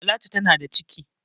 Talatu tana da ciki